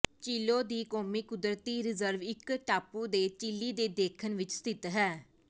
Chiloe ਦੀ ਕੌਮੀ ਕੁਦਰਤੀ ਰਿਜ਼ਰਵ ਇੱਕ ਟਾਪੂ ਦੇ ਚਿਲੀ ਦੇ ਦੱਖਣ ਵਿੱਚ ਸਥਿਤ ਹੈ